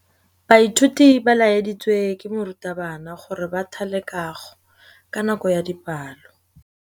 Baithuti ba laeditswe ke morutabana gore ba thale kagô ka nako ya dipalô.